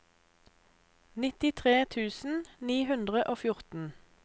nittitre tusen ni hundre og fjorten